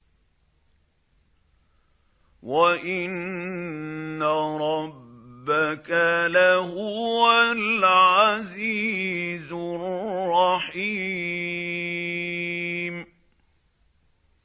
وَإِنَّ رَبَّكَ لَهُوَ الْعَزِيزُ الرَّحِيمُ